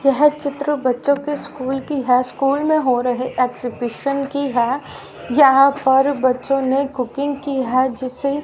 यह चित्र बच्चों के स्कूल की हाई स्कूल में हो रहे एग्जिबिशन की हैं यहां पर बच्चों ने कुकिंग की हैं जिसे--